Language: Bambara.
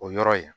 O yɔrɔ ye